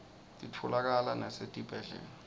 titfolakala nasetibhedlela